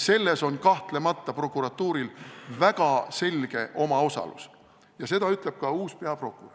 Selles on kahtlemata prokuratuuril väga selge osalus ja seda ütleb ka uus peaprokurör.